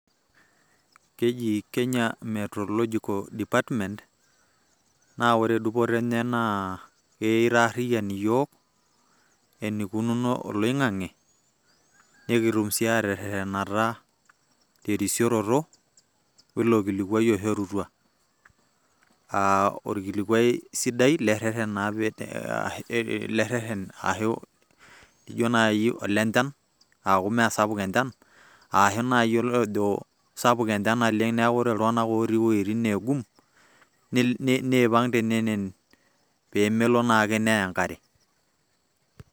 Keji Kenya Meteorological department ,naa ore dupoto enye naa keitarriyian iyiok, enikununo oloing'ang'e, nekitum si aterrerrenata terisioroto oilo kilikwai oishorutua. Ah olkilikwai sidai le rrerren na pee. Ashu jo nai olenchan, aaku meesapuk enchan, ashu nai olojo sapuk enchan naleng' neeku ore iltung'anak otii iweiting' neegum, niipang' tenenen pemelo naake neya enkare.